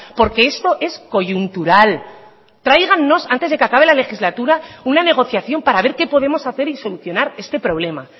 porque esto es coyuntural tráigannos antes de que acabe la legislatura una negociación para ver qué podemos hacer y solucionar este problema